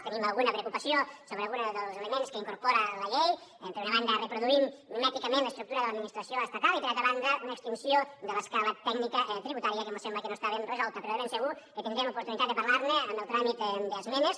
tenim alguna preocupació sobre algun dels elements que incorpora la llei per una banda reproduint mimèticament l’estructura de l’administració estatal i per altra banda una extinció de l’escala tècnica tributària que mos sembla que no està ben resolta però de ben segur que tindrem oportunitat de parlar ne en el tràmit d’esmenes